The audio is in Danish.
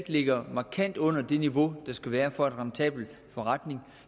ligger markant under det niveau der skal være for en rentabel forretning